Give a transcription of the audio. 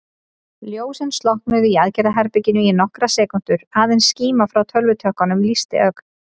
Ljósin slokknuðu í aðgerðaherberginu í nokkrar sekúndur, aðeins skíma frá tölvutökkunum lýsti ögn.